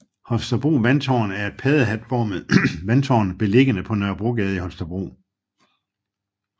Holstebro Vandtårn er et paddehatformet vandtårn beliggende på Nørrebrogade i Holstebro